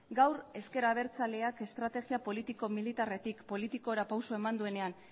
gaur ezker abertzaleak estrategia politiko militarretik politikora pausoa eman duenean